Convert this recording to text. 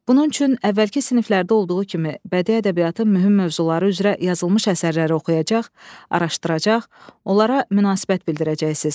Bunun üçün əvvəlki siniflərdə olduğu kimi bədii ədəbiyyatın mühüm mövzuları üzrə yazılmış əsərləri oxuyacaq, araşdıracaq, onlara münasibət bildirəcəksiniz.